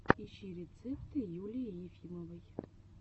ищи рецепты юлии ефимовой